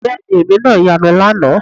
Bẹ́ẹ̀ ni èmi náà yanu lánàá